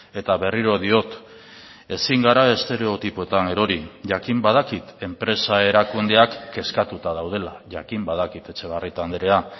eta berriro diot ezin gara estereotipoetan erori jakin badakit enpresa erakundeak kezkatuta daudela jakin badakit etxebarrieta andrea